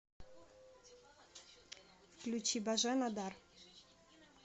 включи божена дар